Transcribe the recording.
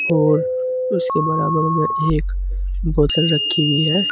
और उसके बराबर में एक बोतल रखी हुई है।